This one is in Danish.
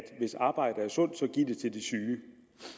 hvis arbejde er sundt så giv det til de syge